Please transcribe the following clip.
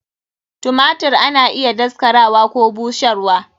Tumatir ana iya daskararwa Koh busharwa.